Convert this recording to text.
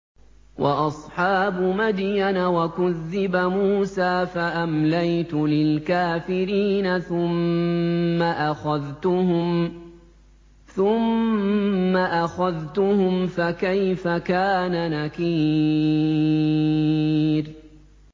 وَأَصْحَابُ مَدْيَنَ ۖ وَكُذِّبَ مُوسَىٰ فَأَمْلَيْتُ لِلْكَافِرِينَ ثُمَّ أَخَذْتُهُمْ ۖ فَكَيْفَ كَانَ نَكِيرِ